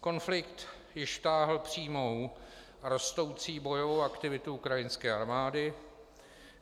Konflikt již táhl přímou a rostoucí bojovou aktivitu ukrajinské armády.